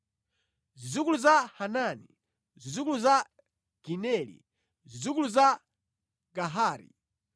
Zidzukulu za Hanani, zidzukulu za Gideli, zidzukulu za Gahari,